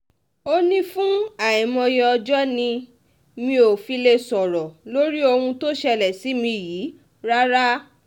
ó ní fún àìmọye ọjọ́ ni mi ò fi lè sọ̀rọ̀ lórí ohun tó ṣẹlẹ̀ sí mi yìí rárá